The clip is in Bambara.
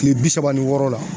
Kile bi saba ni wɔɔrɔ la.